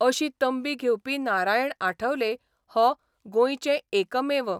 अशी तंबी घेवपी नारायण आठवले हो गोंयचे एकमेव